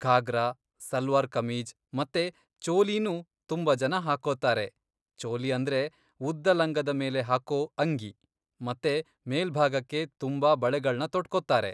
ಘಾಗ್ರಾ, ಸಲ್ವಾರ್ ಕಮೀಜ್, ಮತ್ತೆ ಚೋಲಿನೂ ತುಂಬಾ ಜನ ಹಾಕ್ಕೊತಾರೆ. ಚೋಲಿ ಅಂದ್ರೆ ಉದ್ದ ಲಂಗದ ಮೇಲೆ ಹಾಕೋ ಅಂಗಿ ಮತ್ತೆ ಮೇಲ್ಭಾಗಕ್ಕೆ ತುಂಬಾ ಬಳೆಗಳ್ನ ತೊಟ್ಕೊತಾರೆ.